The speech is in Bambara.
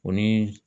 O ni